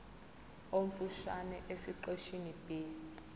omfushane esiqeshini b